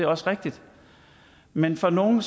også rigtigt men for nogle